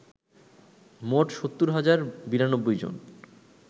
মোট ৭০ হাজার ৯২ জন